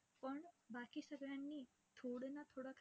आणि first posting माझी मग जयंती मध्ये आर आर पटेल ला झाली होती.